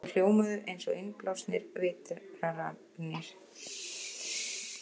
Þau hljómuðu einsog innblásnar vitranir.